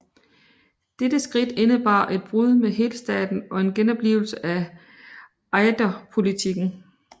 Dette skridt indebar et brud med helstaten og en genoplivelse af Ejderpolitikken